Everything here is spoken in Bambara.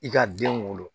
I ka den wolo